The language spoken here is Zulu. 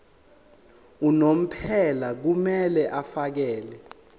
unomphela kumele afakele